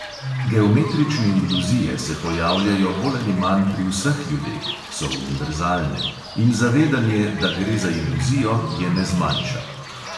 Geometrične iluzije se pojavljajo bolj ali manj pri vseh ljudeh (so univerzalne) in zavedanje, da gre za iluzijo, je ne zmanjša.